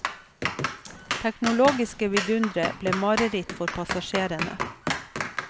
Teknologiske vidundere ble mareritt for passasjerene.